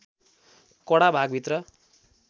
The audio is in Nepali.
कडा भाग भित्र